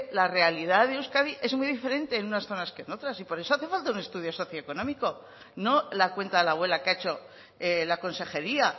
la realidad de euskadi es muy diferente en unas zonas que en otras y por eso hace falta un estudio socioeconómico no la cuenta de la abuela que ha hecho la consejería